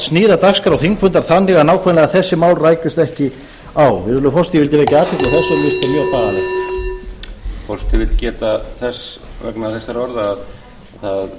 sníða dagskrá þingfundar þannig að nákvæmlega þessi mál rækjust ekki á virðulegi forseti ég vildi vekja athygli á þessu og mér finnst þetta mjög bagalegt